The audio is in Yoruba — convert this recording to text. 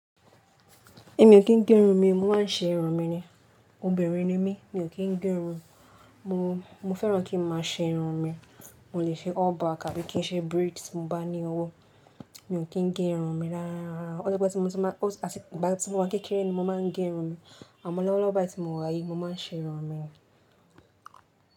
Èmi ò kí ń gé irun mi, mo máa ń ṣe irun mi ni. Obìnrin ni mí, mi ò kí ń gé irun, mo, mo fẹ́ràn kí n máa ṣe irun mi. Mo lè ṣe all back àbí kí n ṣe braids tí mo bá ní owó. Mi ò kí ń gé irun mi rárá. Otipẹ́ tí mo ti máa, àti ìgbà tí mo wà kékeré ni mo máa ń gé irun mi. Àmọ́ lọ́wọ́ lọ́wọ́ tí mo wà yìí, mo máa ń ṣe irun mi.